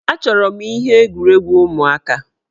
Achọrọ m ihe egwuregwu ụmụaka.